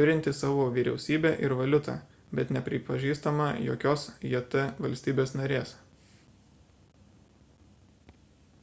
turinti savo vyriausybę ir valiutą bet nepripažįstama jokios jt valstybės narės